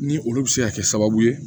Ni olu bɛ se ka kɛ sababu ye